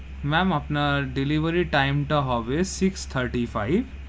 Ma'am আপনার delivery time তা হবে, six thirty-five,